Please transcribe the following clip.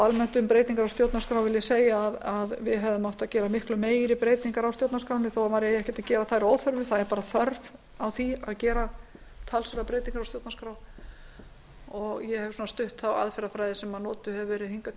almennt um breytingar á stjórnarskrá vil ég segja að við hefðum átt að gera miklu meiri breytingar á stjórnarskránni þó maður eigi ekki að gera þær að óþörfu það er bara þörf á því að gera talsverðar breytingar á stjórnarskrá ég hef stutt þá aðferðafræði sem notuð hefur verið hingað